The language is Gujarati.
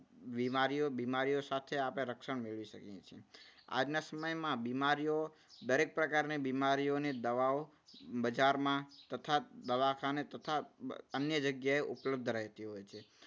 બીમારીઓ બીમારીઓ સામે આપણે રક્ષણ મેળવી શકીએ છીએ. આજના સમયમાં બીમારીઓ દરેક પ્રકારની બીમારીઓની દવાઓ બજારમાં તથા દવાખાને તથા અન્ય જગ્યાએ ઉપલબ્ધ રહેતી હોય છે.